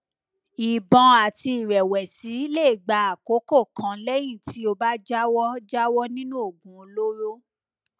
ìbọn àti ìrẹwẹsì lè gba àkókò kan lẹyìn tí o bá jáwọ jáwọ nínú oògùn olóró